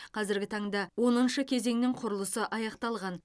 қазіргі таңда оныншы кезеңнің құрылысы аяқталған